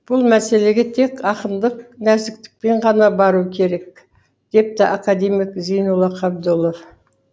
бұл мәселеге тек ақындық нәзіктікпен ғана бару керек депті академик зейнолла қабдолов